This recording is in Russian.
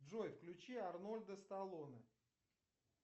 джой включи арнольда сталлоне